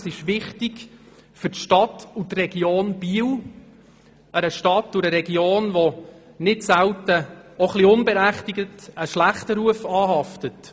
Es ist wichtig für die Stadt und die Region Biel; eine Stadt und eine Region, der nicht selten auch ein bisschen unberechtigt ein schlechter Ruf anhaftet.